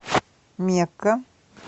мекка